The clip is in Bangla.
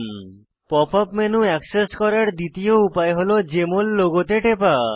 pop ইউপি মেনু অ্যাক্সেস করার দ্বিতীয় উপায় হল জেএমএল লোগোতে টেপা